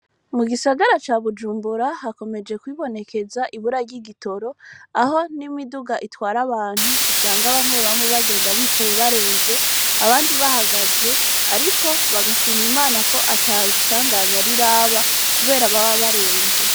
Mu gisagara ca bujumbura hakomeje kwibonekeza ibura ry'igitoro aho n'imiduga itwara abantu usanga bamwe bamwe bagenda bicaye barenze abandi bahagaze, ariko bagashima imana ko ata isanganya ariraba, kubera baba barenze.